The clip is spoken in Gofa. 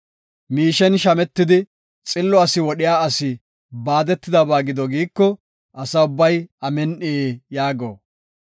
“Miishen shametidi, xillo asi wodhiya asi baadetidaysa gido” giiko, Asa ubbay, “Amin7i” yaago.